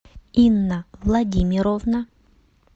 инна владимировна